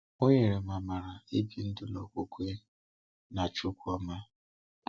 Ọ nyere m amara ibi ndụ n’okwukwe n’Chíukwu ọma.